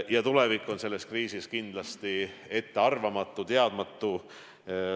Ja tulevik on praegu ettearvamatu, teadmatu.